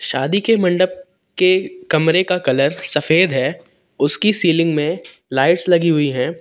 शादी के मंडप के कमरे का कलर सफेद है उसकी सीलिंग में लाइट्स लगी हुई है।